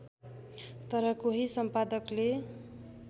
तर कोही सम्पादकले